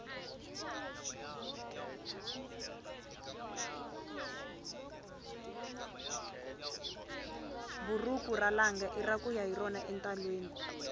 buruku ra langa ira kuya hi rona entalwini